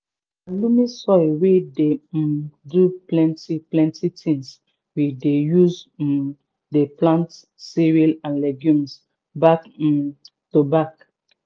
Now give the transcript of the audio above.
na loamy soil wey dey um do pleni plenti tins we dey use um dey plant cereals and legumes back um to back.